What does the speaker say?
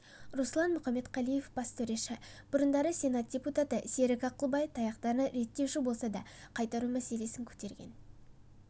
руслан мұхамедқалиев бас төреші бұрындары сенат депутаты серік ақылбай таяқтарын реттеушілерге болса да қайтару мәселесін көтерген